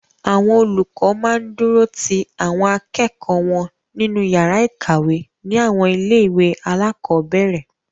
Àwọn olùkọ máa ń dúró ti àwọn akẹ́kọ̀ọ́ wọn nínú yàrá ìkàwé ní àwọn ilé-ìwé alákọ̀ọ́bẹ̀ẹ̀rẹ̀.